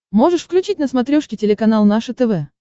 можешь включить на смотрешке телеканал наше тв